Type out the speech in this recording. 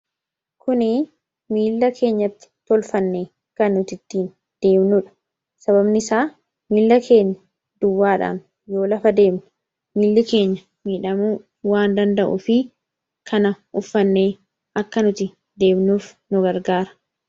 kuni miila keenyatti tolfanne kan nutittiin deemnuudha sababni isaa miila keenya duwwaadhaan yoo lafa deemnu miilli keenya miidhamuu waan danda'u fi kana uffannee akka nuti deemnuuf nu gargaara